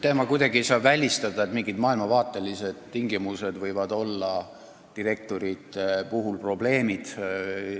Ma ei saa kuidagi välistada, et mingid maailmavaatelised tingimused võivad direktorite puhul probleemseks osutuda.